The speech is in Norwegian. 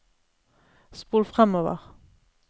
spol framover